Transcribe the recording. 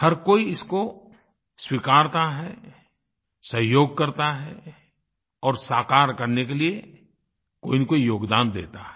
हर कोई इसको स्वीकारता है सहयोग करता है और साकार करने के लिए कोई न कोई योगदान देता है